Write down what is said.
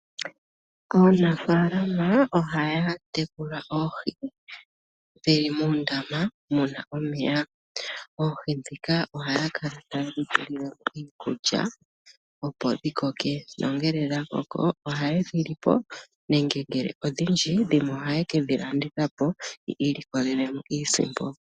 Aanafalama ohaya tekula oohi dhili muundama muna omeya. Oohi ndika ohaya kala tayedhi pe iikuluya opo dhi koke nongele dha koka ohayedhi lipo nenge odhindji dhimwe ohaye kedhi landitha po yi ilikolele iisimpo.